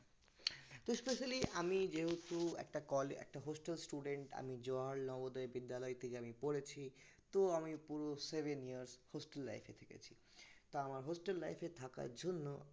তো specially আমি যেহেতু একটা কল একটা hostel student আমি বিদ্যালয় থেকে আমি পড়েছি তো আমি পুরো seven years hostel life এ থেকেছি তা আমার hostel life এ থাকার জন্য